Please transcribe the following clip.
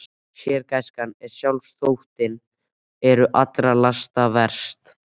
Sérgæskan og sjálfsþóttinn eru allra lasta verst.